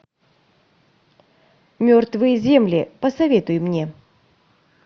мертвые земли посоветуй мне